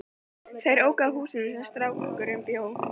Þeir óku að húsinu þar sem strákurinn bjó.